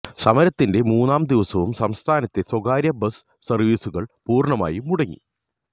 സമരത്തിന്റെ മൂന്നാം ദിവസവും സംസ്ഥാനത്തെ സ്വകാര്യ ബസ് സര്വീസുകള് പൂര്ണമായി മുടങ്ങി